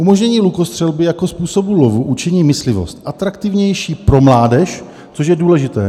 "Umožnění lukostřelby jako způsobu lovu učiní myslivost atraktivnější pro mládež" - což je důležité.